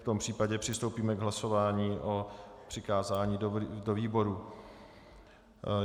V tom případě přistoupíme k hlasování o přikázání do výboru.